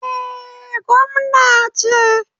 Eh, gwamna ce.